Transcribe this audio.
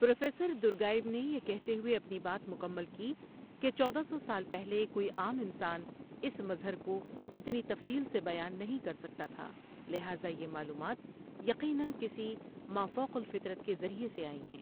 Professor درگاائو نے یہ کہتے ہوئے اپنی بات مکمل کی کہ چودہ سو سال پہلے کوئی عام انسان اس مظہرکو اتنی تفصیل سے بیان نہیں کر سکتا تھا لہٰذا یہ معلومات یقیناً کسی مافوق الفطرت کے ذریعے سے آئی ہیں ۔